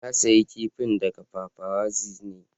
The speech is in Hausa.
Na siya kifin daga paparazzi ne.